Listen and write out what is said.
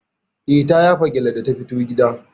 Eh ta yafa gyalle da ta fito gida.